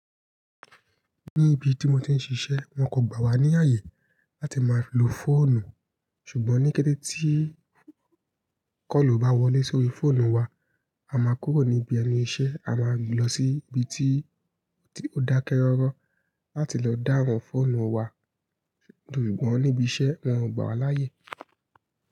Ní ibi tí mo ti ń ṣiṣẹ́ wón kò gbà wá ní ààyè láti máa lo fóònù. Ṣùgbọ́n ní kẹ́tẹ́ tí kọ́lù bá wọlé sórí fóònù wa, a máa kúrò níbi ẹnu iṣẹ́, a máa lọ sí ibi tí, tí ó dákẹ́ rọ́rọ́ láti lọ dáhùn fóònù wa. Ṣùgbọ́n níbi iṣẹ́ wón ò gbà wá láàyè.